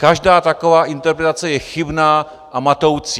Každá taková interpretace je chybná a matoucí.